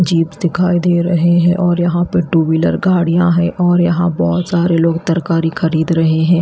Jeep दिखाई दे रहे हैं और यहां पर टू व्हीलर गाड़ियां है और यहां बहोत सारे लोग तरकारी खरीद रहे हैं।